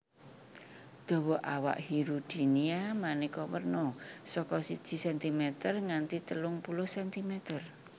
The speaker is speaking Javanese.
Dawa awak Hirudinea manéka werna saka siji sentimeter nganti telung puluh sentimer